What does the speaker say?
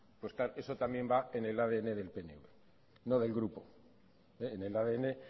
eso también va en el adn del pnv no del grupo en el adn